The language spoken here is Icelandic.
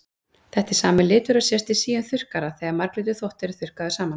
Þetta er sami litur og sést í síum þurrkara þegar marglitur þvottur er þurrkaður saman.